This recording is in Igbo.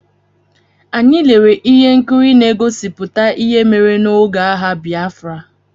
Anyị lere ihe nkiri na-egosipụta ihe mere n'oge agha Bịafra.